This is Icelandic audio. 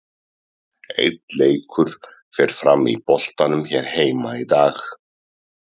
Einn leikur fer fram í boltanum hér heima í dag.